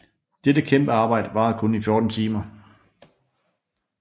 Dette kæmpe arbejde varede kun 14 timer